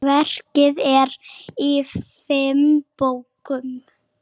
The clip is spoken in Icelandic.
Verkið er í fimm bókum.